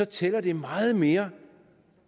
tæller det meget mere